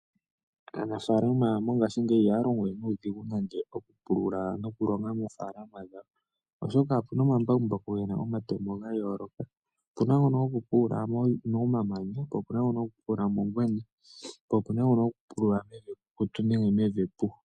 Aanafalama mongashingeyi ihaya longo we nuudhigu nande okupulula nokulonga moofaalama dhawo. Oshoka opuna omambakumbaku gena omatemo gayooloka, opuna ngono gokupulula momamanya, po puna ngono gokupulula mongwena, po opuna ngono gokupulula mevi epu nenge mevi ekukutu.